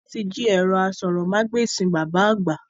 Wọn tí jí ẹ̀rọ aṣórómagbesìn bàbá àgbà